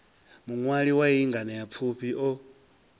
muṅwali wa iyi nganeapfufhi o